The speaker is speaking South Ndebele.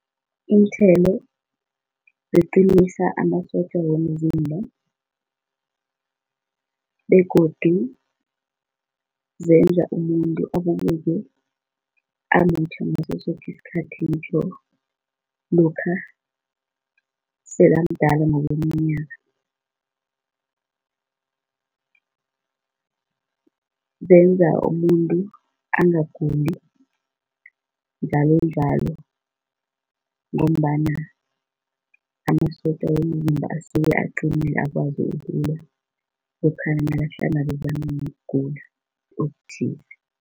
Iinthelo ziqinisa amasotja womzimba begodu zenza umuntu abukeke amuhle ngaso soke isikhathi ngitjho lokha sekamdala ngokweminyaka. Zenza umuntu angaguli njalonjalo ngombana amasotja womzimba asuke aqinile akwazi ukulwa lokha nakahlangabezana nokugula okuthize.